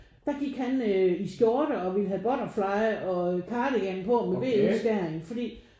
Der gik han i skjorte og vi havde butterfly og cardigan på med v-udskæring fordi